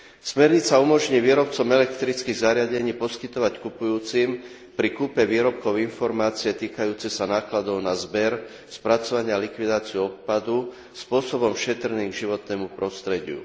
Smernica umožní výrobcom elektrických zariadení poskytovať kupujúcim pri kúpe výrobkov informácie týkajúce sa nákladov na zber, spracovanie a likvidáciu odpadu spôsobom šetrným k životnému prostrediu.